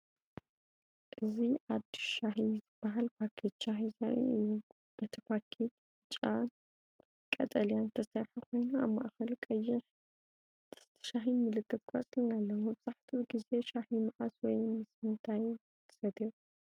እዚ “ኣዲስ ሻሂ” ዝበሃል ፓኬት ሻሂ ዘርኢ እዩ። እቲ ፓኬት ብጫን ቀጠልያን ዝተሰርሐ ኮይኑ ኣብ ማእከሉ ቀይሕ ድስቲ ሻሂን ምልክት ቆጽልን ኣለዎ። መብዛሕትኡ ግዜ ሻሂ መዓስ ወይ ምስ ምንታይ ትሰትዮ?